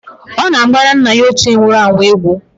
Ọ na-agbara nna ya ochie nwuru anwụ egwu.